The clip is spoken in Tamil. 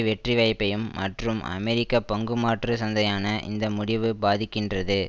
வெற்றி வாய்ப்பையும் மற்றும் அமெரிக்க பங்குமாற்று சந்தையான இந்த முடிவு பாதிக்கின்றது